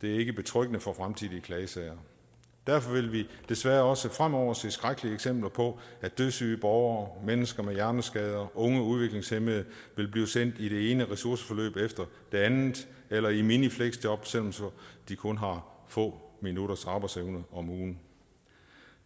det er ikke betryggende for fremtidige klagesager derfor vil vi desværre også fremover se skrækkelige eksempler på at dødssyge borgere mennesker med hjerneskader unge udviklingshæmmede vil blive sendt i det ene ressourceforløb efter det andet eller i mini fleksjob selv om de kun har få minutters arbejdsevne om ugen